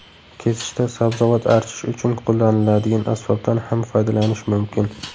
Kesishda sabzavot archish uchun qo‘llaniladigan asbobdan ham foydalanish mumkin.